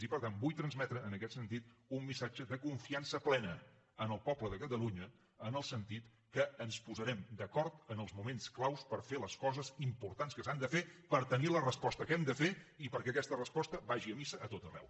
i per tant vull transmetre en aquest sentit un missatge de confiança plena al poble de catalunya en el sentit que ens posarem d’acord en els moments clau per fer les coses importants que s’han de fer per tenir la resposta que hem de fer i perquè aquesta resposta vagi a missa a tot arreu